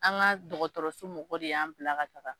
An ka dɔgɔtɔrɔsiw mɔgɔ de y'an bila ka taga.